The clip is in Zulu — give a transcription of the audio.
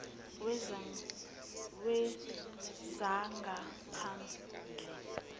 wezangaphandle